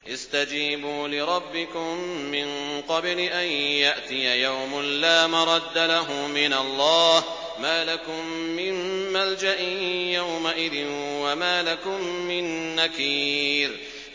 اسْتَجِيبُوا لِرَبِّكُم مِّن قَبْلِ أَن يَأْتِيَ يَوْمٌ لَّا مَرَدَّ لَهُ مِنَ اللَّهِ ۚ مَا لَكُم مِّن مَّلْجَإٍ يَوْمَئِذٍ وَمَا لَكُم مِّن نَّكِيرٍ